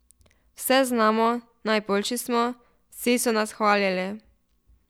Vse znamo, najboljši smo, vsi so nas hvalili.